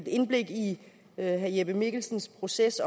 indblik i herre jeppe mikkelsens proces